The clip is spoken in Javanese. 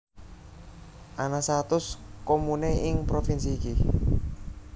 Ana satus comune ing provinsi iki